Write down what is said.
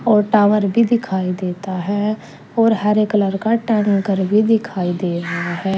और टावर भी दिखाई देता है और हरे कलर का टैंकर भी दिखाई दे रहा है।